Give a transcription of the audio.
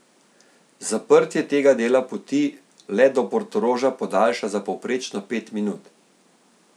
Zaprtje tega dela poti let do Portoroža podaljša za povprečno pet minut.